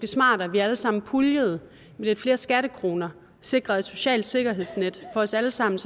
smartere at vi alle sammen puljede med lidt flere skattekroner og sikrede et socialt sikkerhedsnet for os alle sammen